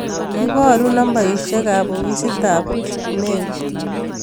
Iborun nambaisyek ab ofisit ab Kipmeu